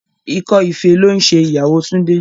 Ikọ́ ife ló ń ṣe ìyàwó Túndé.